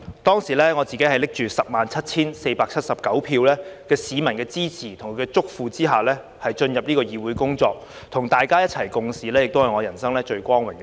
當時，我自己拿着 107,479 票的市民支持，在他們的囑咐下進入這議會工作，與大家一起共事也是我人生最光榮的事。